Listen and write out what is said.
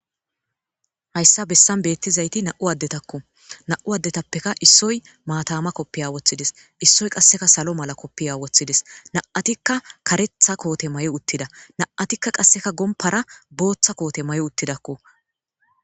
Hasa bessan beetizay nam'u addetako. Nam'u addetappe issoy maatama koffiya wothides. Issoy qasseka salo mala koffiya wothides. Na''atika karetha koote mayi uttida. Na''atikka qasse gomppara bootha koote mayi uttidakko.